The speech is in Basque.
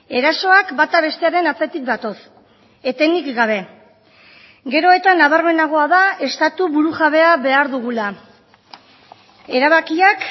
erasoak bata bestearen atzetik datoz etenik gabe gero eta nabarmenagoa da estatu burujabea behar dugula erabakiak